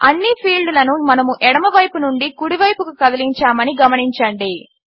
అన్ని ఫీల్డ్లను మనము ఎడమవైపు నుండి కుడివైపుకు కదిలించామని గమనించండి